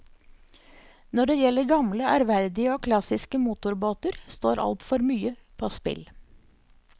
Når det gjelder gamle, ærverdige og klassiske motorbåter, står altfor mye på spill.